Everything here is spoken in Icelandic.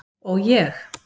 Og ég?